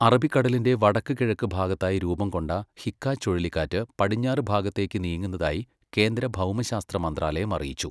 അറബിക്കടലിന്റെ വടക്ക്കിഴക്ക് ഭാഗത്തായി രൂപം കൊണ്ട ഹിക്കാ ചുഴലിക്കാറ്റ് പടിഞ്ഞാറ് ഭാഗത്തേക്ക് നീങ്ങുന്നതായി കേന്ദ്ര ഭൗമശാസ്ത്ര മന്ത്രാലയം അറിയിച്ചു.